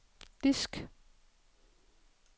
disk